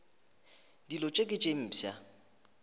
dilo tše ke tše mpsha